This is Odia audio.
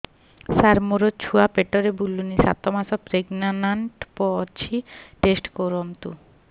ସାର ମୋର ଛୁଆ ପେଟରେ ବୁଲୁନି ସାତ ମାସ ପ୍ରେଗନାଂଟ ଅଛି ଟେଷ୍ଟ କରନ୍ତୁ